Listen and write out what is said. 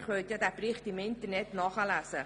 Sie können den Bericht im Internet nachlesen.